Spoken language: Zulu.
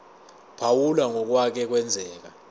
phawula ngokwake kwenzeka